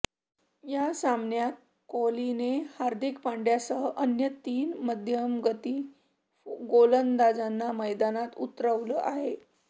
या सामन्यात कोहलीने हार्दिक पंड्यासह अन्य तीन मध्यमगती गोलंदाजांना मैदानात उतरवलं आहे